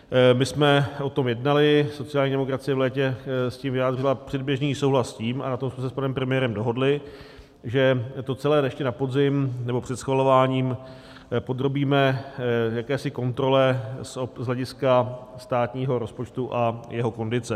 My jsme o tom jednali, sociální demokracie v létě s tím vyjádřila předběžný souhlas s tím, a na tom jsme se s panem premiérem dohodli, že to celé ještě na podzim, nebo před schvalováním, podrobíme jakési kontrole z hlediska státního rozpočtu a jeho kondice.